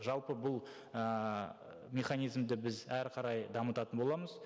жалпы бұл ііі механизмді біз әрі қарай дамытатын боламыз